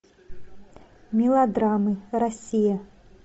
мелодрамы россия